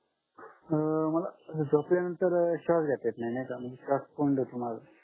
अं मला झोपल्यानंतर श्वास घेता येत नाही नाय का म्हणजे श्वास कोंडतो माझा